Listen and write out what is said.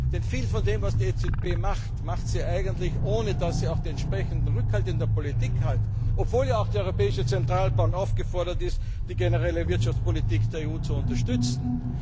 Denn viel von dem, was die EZB macht, macht sie eigentlich, ohne dass sie auch entsprechenden Rückhalt in der Politik hat. Obwohl ja auch die Europäische Zentralbank aufgefordert ist, die generelle Wirtschaftspolitik der EU zu unterstützen.